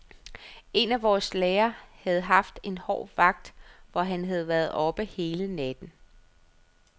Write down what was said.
En af vores læger havde haft en hård vagt, hvor han havde været oppe hele natten.